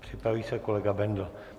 Připraví se kolega Bendl.